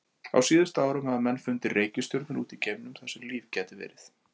Á síðustu árum hafa menn fundið reikistjörnur út í geimnum þar sem líf gæti verið.